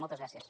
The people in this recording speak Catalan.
moltes gràcies